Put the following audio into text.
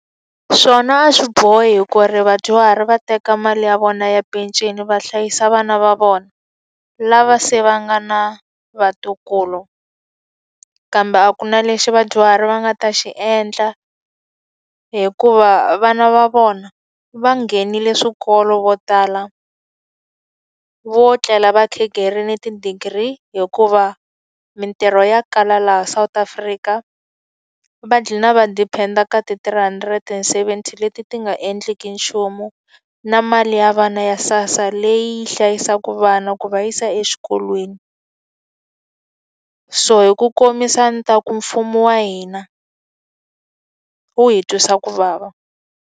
Swona a swi bohi ku ri vadyuhari va teka mali ya vona ya peceni va hlayisa vana va vona, lava se va nga na vatukulu. Kambe a ku na lexi vadyuhari va nga ta xi endla hikuva vana va vona va nghenile swikolo vo tala, vo tlela va khegerile ti-degree hikuva mintirho ya kala laha South Africa. Va dlhina va depend-a kati three hundred and seventy leti ti nga endleki nchumu. Na mali ya vana ya SASA leyi yi hlayisaka vana ku va yisa exikolweni. So hi ku komisa a ni ta ku mfumo wa hina, wu hi twisa ku vava.